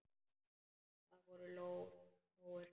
Það voru lóur.